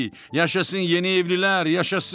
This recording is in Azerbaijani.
Yaşasın yeni evlilər, yaşasın!